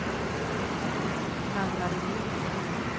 Ann-Marie Norgren